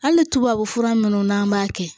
Hali tubabu fura munnu n'an b'a kɛ